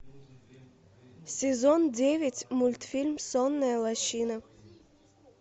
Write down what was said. сезон девять мультфильм сонная лощина